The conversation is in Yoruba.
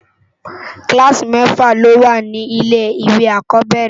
Kìlásí mèfá ló wá ni ilé iwé ákòbèrè